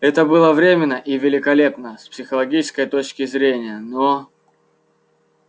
это было временно и великолепно с психологической точки зрения но